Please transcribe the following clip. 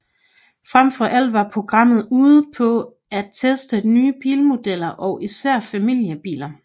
Fremfor alt var programmet ude på at teste nye bilmodeller og især familiebiler